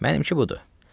Mənimki budur.